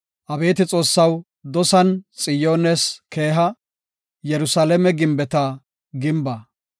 Abeeti Xoossaw, dosan Xiyoones keeha; Yerusalaame gimbeta gimba.